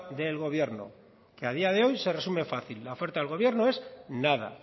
del gobierno que a día de hoy se resume fácil la oferta del gobierno es nada